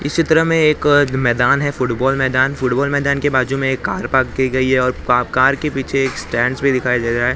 इसी तरह में एक अ मैदान है फुटबॉल मैदान फुटबॉल मैदान के बाजू में एक कार पार्क की गई है और कार के पीछे एक स्टैंड्स भी दिखाई दे रहा है जिसकी--